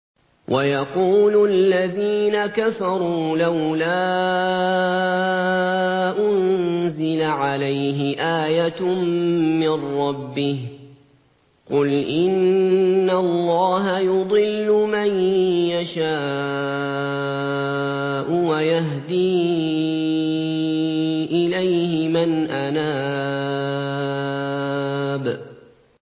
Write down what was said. وَيَقُولُ الَّذِينَ كَفَرُوا لَوْلَا أُنزِلَ عَلَيْهِ آيَةٌ مِّن رَّبِّهِ ۗ قُلْ إِنَّ اللَّهَ يُضِلُّ مَن يَشَاءُ وَيَهْدِي إِلَيْهِ مَنْ أَنَابَ